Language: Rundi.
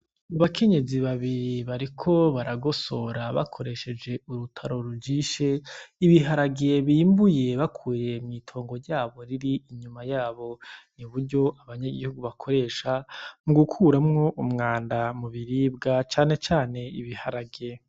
Abakenyezi babiri bariko baragosora bakoresheje urutaro rujishe, ibiharage bimbuye bakuye mwitongo ryabo riri inyuma yabo. Ni buryo abanyagihugu bakoresha mugukuramwo umwanda mubiribwa cane cane ibiharage.